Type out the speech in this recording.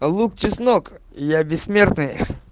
лук чеснок я бессмертный